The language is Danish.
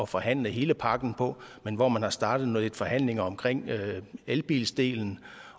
forhandle hele pakken men hvor man er startet med en forhandling omkring elbildelen